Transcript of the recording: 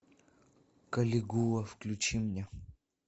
калигула включи мне